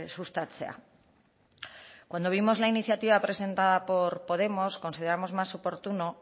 sustatzea cuando vimos la iniciativa presentada por podemos consideramos más oportuno